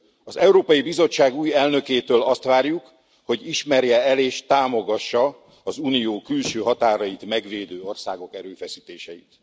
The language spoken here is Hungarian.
Az Európai Bizottság új elnökétől azt várjuk, hogy ismerje el és támogassa az unió külső határait megvédő országok erőfeszítéseit.